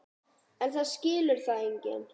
En það skilur það enginn.